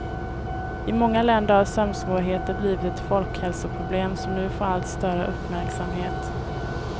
I många länder har sömnsvårigheter blivit ett folkhälsoproblem som nu får allt större uppmärksamhet.